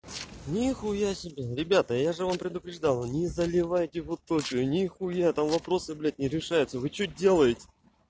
ни хуя себе ребята я же вам предупреждал не заливайте вы тоже не хуя там вопросы блять не решаются вы что делаете